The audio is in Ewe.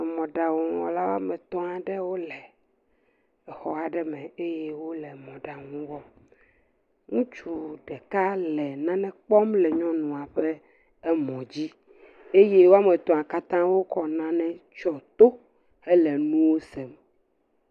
Emɔ̃ɖaŋuwɔla woame tɔ̃ aɖewo le exɔ aɖe me eye wole mɔ̃ɖaŋu wɔm. Ŋutsu ɖeka le nane kpɔm le nyɔnua ƒemɔ̃dzi eye woame tɔ̃a katã wokɔ nane tsyɔ to hele nuwo sem.